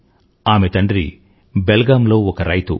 ఆమె తండ్రి బెల్గామ్ లో ఒక రైతు